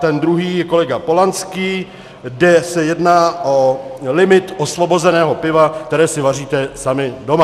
Ten druhý je kolega Polanský, kde se jedná o limit osvobozeného piva, které si vaříte sami doma.